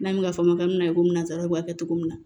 N'a bɛ ka fɔ ka mina komi nansaraw b'a kɛ cogo min na